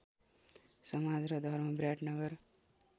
समाज र धर्म विराटनगर